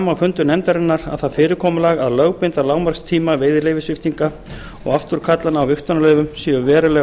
fundum nefndarinnar að það fyrirkomulag að lögbinda lágmarkstíma veiðileyfissviptinga og afturkallana á vigtunarleyfum séu verulega